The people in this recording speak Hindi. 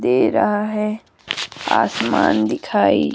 दे रहा है आसमान दिखाई।